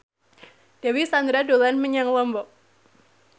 Dewi Sandra dolan menyang Lombok